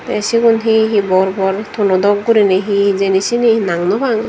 tey sigon hehe bor bor tonodok guriney he hejeni seyeni nang nopang.